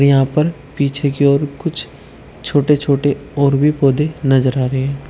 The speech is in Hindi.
यहां पर पीछे की और कुछ छोटे छोटे और भी पौधे नजर आ रहे हैं।